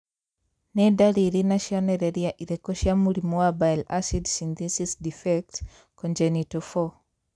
Nĩ ndariri na cionereria irĩkũ cia mũrimũ wa Bile acid synthesis defect, congenital, 4?